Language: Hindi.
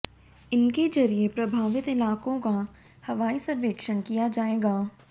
इनके जरिए प्रभावित इलाकों का हवाई सर्वेक्षण किया जाएगा